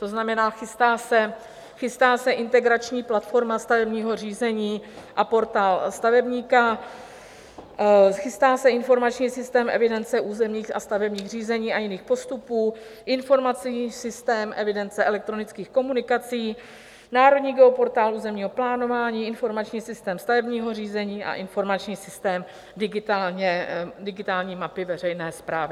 To znamená, chystá se Integrační platforma stavebního řízení a Portál stavebníka, chystá se Informační systém evidence územních a stavebních řízení a jiných postupů, Informační systém evidence elektronických komunikací, Národní geoportál územního plánování, Informační systém stavebního řízení a Informační systém digitální mapy veřejné správy.